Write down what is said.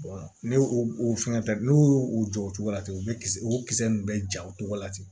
ne o fɛn tɛ n'u y'o o jɔ o cogo la ten u bɛ kis o kisɛ ninnu bɛ ja o cogo la ten